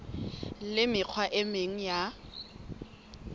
le mekgwa e meng ya